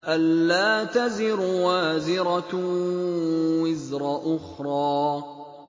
أَلَّا تَزِرُ وَازِرَةٌ وِزْرَ أُخْرَىٰ